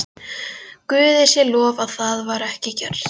Guði sé lof að það var ekki gert.